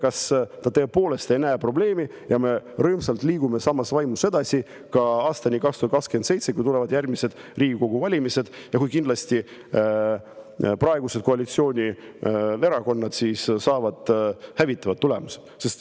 Kas ta tõepoolest ei näe probleemi ja me rõõmsalt liigume samas vaimus edasi aastani 2027, kui tulevad järgmised Riigikogu valimised ja kui kindlasti praegused koalitsioonierakonnad saavad hävitavad tulemused.